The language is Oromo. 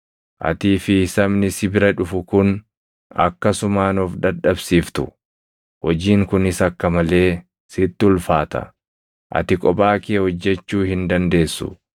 Atii fi sabni si bira dhufu kun akkasumaan of dadhabsiiftu. Hojiin kunis akka malee sitti ulfaata; ati kophaa kee hojjechuu hin dandeessu.